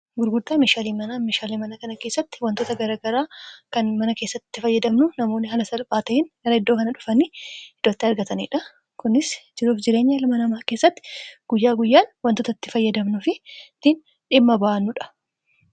gurguddaa mishaalii manaa mishaaliin manaa kana keessatti wantoota garagaraa kan mana keessatti fayyadamnu namoonni hala salphaata'in gara hiddoo kana dhufani hiddooatti argataniidha kunis jiruuf jireenya ilma namaa keessatti guyyaa guyyaan wantootatti fayyadamnu fiiin dhimma ba'annuudha